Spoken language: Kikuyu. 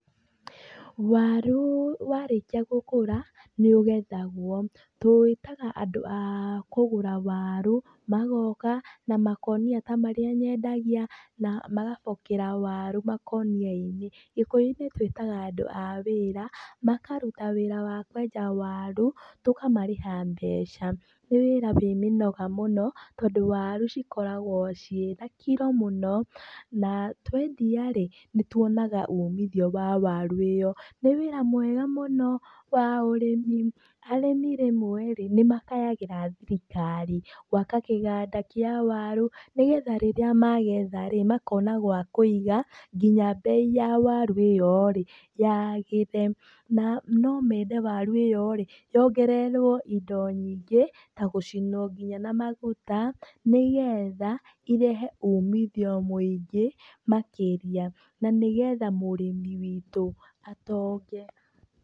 Waru warĩkia gũkũra nĩũgethagwo, tũĩtaga andũ akũgũra waru, magoka na makũnia ta marĩa nyendagia na magabokera waru makũnia-inĩ, gĩkũyũ-inĩ twĩtaga andũ a wĩra, makaruta wĩra wa kwenja waru, tũkamarĩha mbeca, nĩ wĩra wĩ mĩnoga mũno tondũ warucikoragwo cĩ na kiro mũno. Na twendia rĩ nĩtuonaga ũmithio wa waru ĩyo, nĩ wĩra wega mũno wa ũrĩmi. Arĩmi rĩmwe nĩmakayagĩra thirikari gwaka kĩganda kĩa waru nĩgetha rĩrĩa magetha rĩ makona gwa kũiga ngĩnya mbei ya waru ĩyo rĩ yagĩre. Na no mendete waru ĩyo rĩ, yongererwo indo nyingĩ ta gũcinwo nginya na maguta nĩgetha irehe umithio mũingĩ makĩria na nĩgetha mũrimi witũ atonge.